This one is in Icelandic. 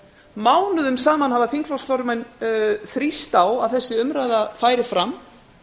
mánuðum saman hafa þingflokksformenn þrýst á að þessi umræða færi fram